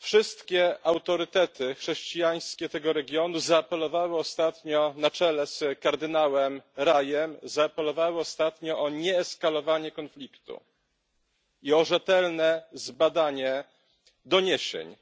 Wszystkie autorytety chrześcijańskie tego regionu zaapelowały ostatnio na czele z kardynałem Raïem o nieeskalowanie konfliktu i o rzetelne zbadanie doniesień,